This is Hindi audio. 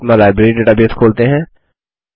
अब अपना लाइब्रेरी डेटाबेस खोलते हैं